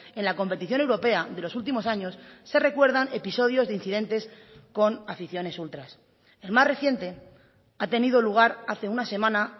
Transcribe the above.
en la competición europea de los últimos años se recuerdan episodios de incidentes con aficiones ultras el más reciente ha tenido lugar hace una semana